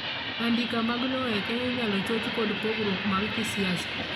andika mag lowo Kenya inyalo choch kod pogruok mag kisiasa